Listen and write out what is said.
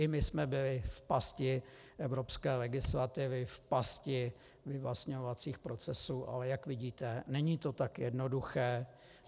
I my jsme byli v pasti evropské legislativy, v pasti vyvlastňovacích procesů, ale jak vidíte, není to tak jednoduché.